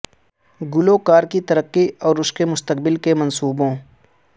گلوکار کی ترقی اور اس کے مستقبل کے منصوبوں